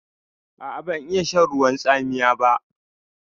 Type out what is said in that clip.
A'a, ban iya shan ruwan tsamiya ba.